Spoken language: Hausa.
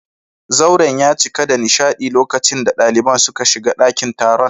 Zauren ya cika da nishadi lokacin da daliban suka shiga dakin taron